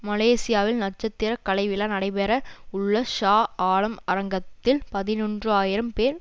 மலேசியாவில் நட்சத்திர கலை விழா நடைபெற உள்ள ஷா ஆலம் அரங்கத்தில் பதினொன்று ஆயிரம் பேர்